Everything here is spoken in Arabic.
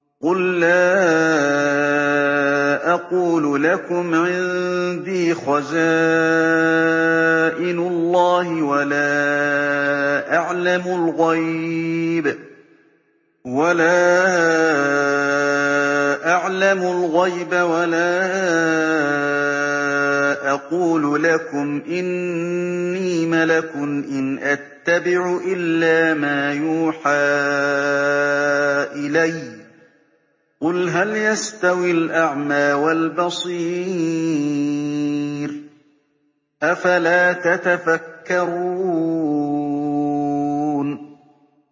قُل لَّا أَقُولُ لَكُمْ عِندِي خَزَائِنُ اللَّهِ وَلَا أَعْلَمُ الْغَيْبَ وَلَا أَقُولُ لَكُمْ إِنِّي مَلَكٌ ۖ إِنْ أَتَّبِعُ إِلَّا مَا يُوحَىٰ إِلَيَّ ۚ قُلْ هَلْ يَسْتَوِي الْأَعْمَىٰ وَالْبَصِيرُ ۚ أَفَلَا تَتَفَكَّرُونَ